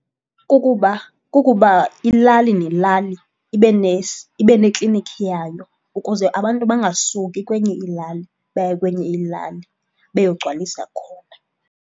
Kukuba ilali nelali ibe neklinikhi yayo ukuze abantu bangasuki kwenye ilali baye kwenye ilali beyogcwalisa khona.